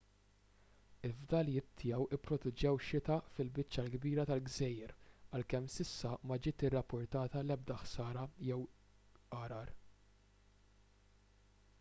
il-fdalijiet tiegħu pproduċew xita fil-biċċa l-kbira tal-gżejjer għalkemm s'issa ma ġiet irrappurtata l-ebda ħsara jew għargħar